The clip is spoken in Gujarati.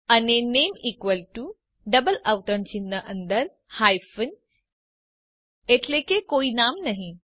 અને નામે ઇકવલ ટુ ડબલ અવતરણ ચિહ્ન અંદર હાયફ્ન એટલે કે કોઈ નામ નહી